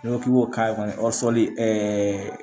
N'i ko k'i b'a ye o fɔli